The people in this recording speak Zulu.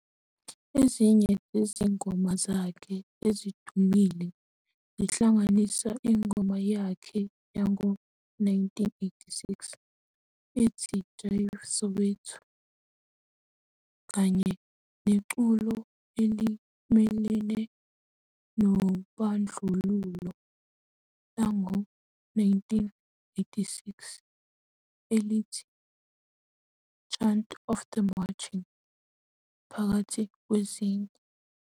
Ezinye zezingoma zakhe ezidumile zihlanganisa ingoma yakhe yango-1986 ethi Jive Soweto kanye neculo elimelene nobandlululo lango-1989 elithi "Chant of the Marching" phakathi kwezinye.